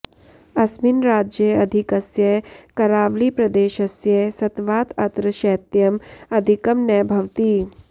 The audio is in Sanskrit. अस्मिन् राज्ये अधिकस्य करावळिप्रदेशस्य सत्वात् अत्र शैत्यम् अधिकं नभवति